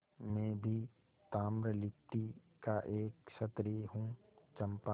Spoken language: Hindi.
मैं भी ताम्रलिप्ति का एक क्षत्रिय हूँ चंपा